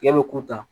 Tigɛ bɛ kun ta